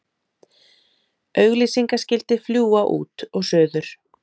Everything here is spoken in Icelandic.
Auglýsingaskilti fljúga út og suður